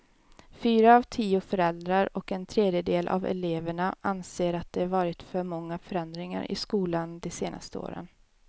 Fyra av tio föräldrar och en tredjedel av eleverna anser att det varit för många förändringar i skolan de senaste åren.